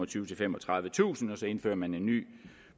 til femogtredivetusind kr og så indfører man en ny